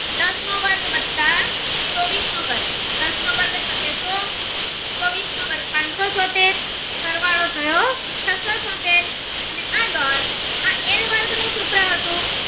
ત્રીસ નો વર્ગ દસ નો વર્ગ થશે તો ચોવીસ નો વાર્ફ પાનસો ચોતેર સરવાળો થયો છસો ચોતેર ને આગળ આ એલ વર્ગ નું સૂત્ર હતું